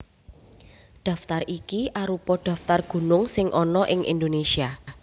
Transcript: Daftar iki arupa daftar gunung sing ana ing Indonésia